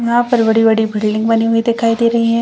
यहाँ पर बड़ी-बड़ी बिल्डिंग बनी हुई दिखाई दे रही है।